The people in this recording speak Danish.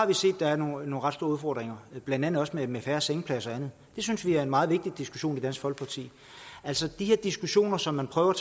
vi set at der er nogle ret store udfordringer blandt andet også med færre sengepladser og det synes vi er en meget vigtig diskussion i dansk folkeparti altså de her diskussioner som man prøver